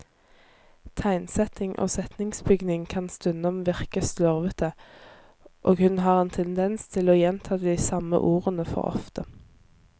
Tegnsetting og setningsbygning kan stundom virke slurvete, og hun har en tendens til å gjenta de samme ordene for ofte.